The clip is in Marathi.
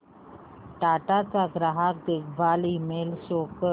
टाटा चा ग्राहक देखभाल ईमेल शो कर